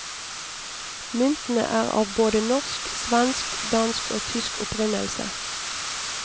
Myntene er av både norsk, svensk, dansk og tysk opprinnelse.